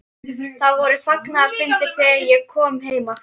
Það voru fagnaðarfundir þegar ég kom heim aftur.